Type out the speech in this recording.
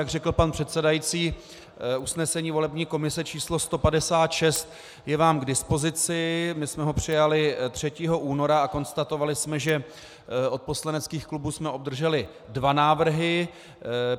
Jak řekl pan předsedající, usnesení volební komise číslo 156 je vám k dispozici, my jsme ho přijali 3. února a konstatovali jsme, že od poslaneckých klubů jsme obdrželi dva návrhy.